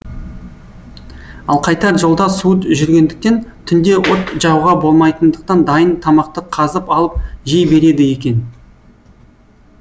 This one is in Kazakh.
ал қайтар жолда суыт жүргендіктен түнде от жағуға болмайтындықтан дайын тамақты қазып алып жей береді екен